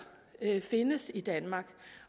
findes i danmark